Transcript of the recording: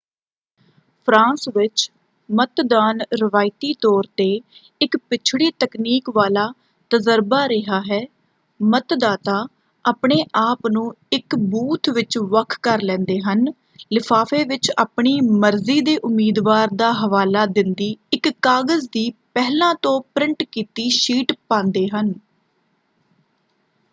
France ਵਿੱਚ ਮਤਦਾਨ ਰਵਾਇਤੀ ਤੌਰ 'ਤੇ ਇੱਕ ਪਿਛੜੀ ਤਕਨੀਕ ਵਾਲਾ ਤਜਰਬਾ ਰਿਹਾ ਹੈ: ਮਤਦਾਤਾ ਆਪਣੇ ਆਪ ਨੂੰ ਇੱਕ ਬੂਥ ਵਿੱਚ ਵੱਖ ਕਰ ਲੈਂਦੇ ਹਨ ਲਿਫਾਫੇ ਵਿੱਚ ਆਪਣੀ ਮਰਜ਼ੀ ਦੇ ਉਮੀਦਵਾਰ ਦਾ ਹਵਾਲਾ ਦਿੰਦੀ ਇੱਕ ਕਾਗਜ਼ ਦੀ ਪਹਿਲਾਂ ਤੋਂ ਪ੍ਰਿੰਟ ਕੀਤੀ ਸ਼ੀਟ ਪਾਂਦੇ ਹਨ।